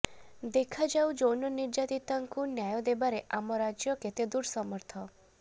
ଦେଖାଯାଉ ଯୌନନିର୍ଯାତିତାଙ୍କୁ ନ୍ୟାୟ ଦେବାରେ ଆମ ରାଜ୍ୟ କେତେଦୂର ସମର୍ଥ